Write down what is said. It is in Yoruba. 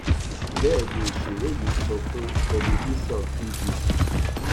bẹẹ ni òṣèré yìí sọ fún tẹlifíṣàn tvc